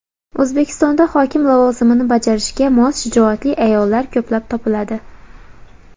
O‘zbekistonda hokim lavozimini bajarishga mos shijoatli ayollar ko‘plab topiladi.